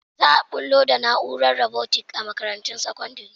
Za a bullo da na’urar robotics a makarantun sakandare.